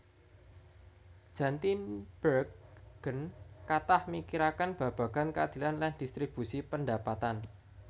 Jan Tinbergen kathah mikiraken babagan keadilan lan distribusi pendapatan